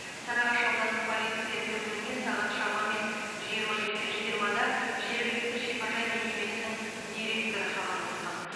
сарыағаш аудандық полиция бөліміне сағат шамамен жиырма екі жиырмада жергілікті шипажай мекемесінің директоры хабарласқан